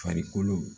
Farikolo